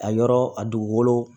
A yɔrɔ a dugukolo